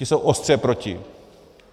Ti jsou ostře proti.